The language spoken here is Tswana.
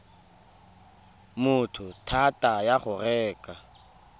motho thata ya go reka